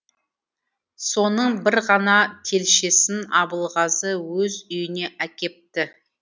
соны бір ғана телшесін абылғазы өз үйіне әкепті